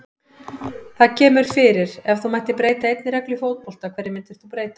Það kemur fyrir Ef þú mættir breyta einni reglu í fótbolta, hverju myndir þú breyta?